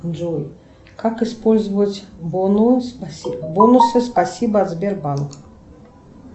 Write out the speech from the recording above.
джой как использовать бонусы спасибо от сбербанка